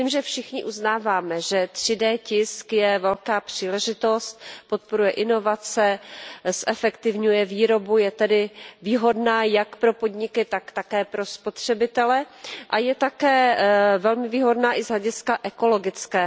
Myslím, že všichni uznáváme, že 3D tisk je velká příležitost, podporuje inovace, zefektivňuje výrobu, je tedy výhodná jak pro podniky, tak také pro spotřebitele a je také velmi výhodná i z hlediska ekologického.